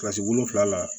Kilasi wolonwula na